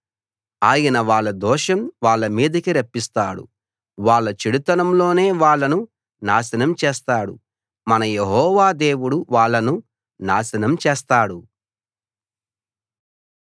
ఆయన వాళ్ళ దోషం వాళ్ళ మీదికి రప్పిస్తాడు వాళ్ళ చెడుతనంలోనే వాళ్ళను నాశనం చేస్తాడు మన యెహోవా దేవుడు వాళ్ళను నాశనం చేస్తాడు